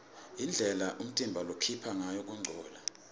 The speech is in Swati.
indlela umtimba lokhipha ngayo kungcola